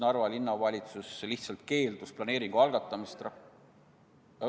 Narva Linnavalitsus lihtsalt keeldus planeeringu algatamisest.